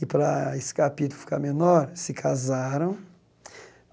e, para esse capítulo ficar menor, se casaram.